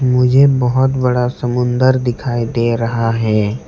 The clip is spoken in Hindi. मुझे बहुत बड़ा समुंदर दिखाई दे रहा है।